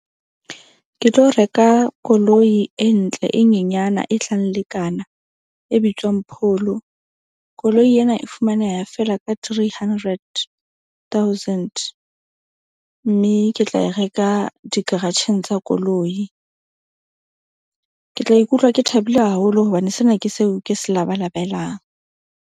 Ke tlo reka koloi e ntle, e nyenyana e tlang lekana e bitswang Polo. Koloi ena e fumaneha feela ka three hundred thousand. Mme ke tla e reka dikaratjheng tsa koloi. Ke tla ikutlwa ke thabile haholo hobane sena ke seo ke se labalabelang.